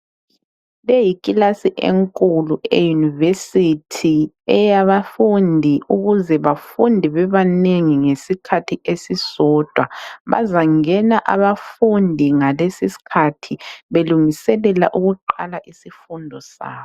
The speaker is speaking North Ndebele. Leyi yikilasi enkulu eye University eyabafundi ,ukuze bafunde bebanengi ngesikhathi esisodwa. Bazangena abafundi ngalesisikhathi belungiselela ukuqala isifundo sabo.